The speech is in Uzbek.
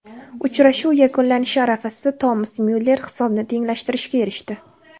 Uchrashuv yakunlanishi arafasida Tomas Myuller hisobni tenglashtirishga erishdi.